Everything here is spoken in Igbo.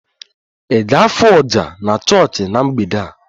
Ị ga-afụ oja na chọọchị na mgbede a?